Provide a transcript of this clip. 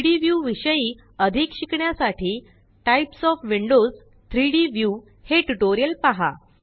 3डी व्यू विषयी अधिक शिकण्यासाठी टाइप्स ओएफ विंडोज 3डी व्ह्यू हे ट्यूटोरियल पहा